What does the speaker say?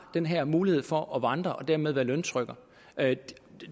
den her mulighed for at vandre og dermed være løntrykker